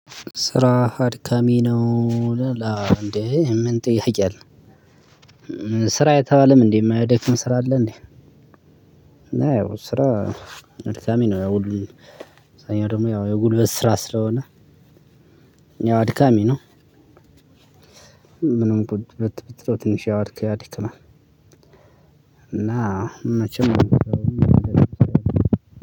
ስራ አድካሚ ነው ይላል አ እንዴ ምን ጥያቄ አለው? ስራ አይተባለም እንዴ የማያደክም ስራ አለ እንዴ? እና ያው ስራ አድካሚ ነው ያው ሁሉም አብዛኛው ደግሞ ያው የጉልበት ስራ ስለሆነ ያው አድካሚ ነው። ምንም ብትለው ትንሽ ያደክማል። እና መቼም